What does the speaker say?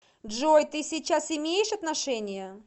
джой ты сейчас имеешь отношения